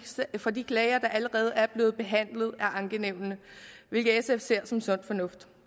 for de klager der allerede er blevet behandlet af ankenævnet hvilket sf ser som sund fornuft